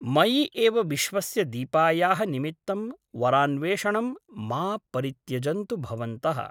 मयि एव विश्वस्य दीपायाः निमित्तं वरान्वेषणं मा परित्यजन्तु भवन्तः ।